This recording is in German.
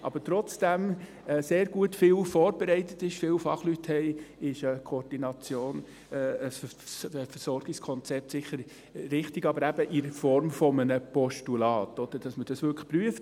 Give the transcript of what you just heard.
Aber obwohl sehr viel vorbereitet ist, es sehr viele Fachleute gibt, ist eine Koordination, ein Versorgungskonzept sicher richtig, aber eben in Form eines Postulats, damit man das wirklich prüft.